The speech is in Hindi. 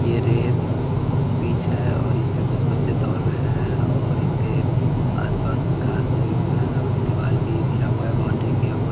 ये रेस पिच है और इसपे कुछ बच्चे दौर रहे हैं और इसके आस पास घास उगे हुए हैं दीवाल भी घिरा हुआ है बाउंड्री किया हुआ--